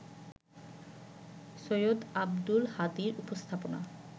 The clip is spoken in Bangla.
সৈয়দ আব্দুল হাদীর উপস্থাপনা